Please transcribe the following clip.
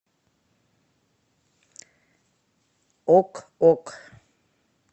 ок ок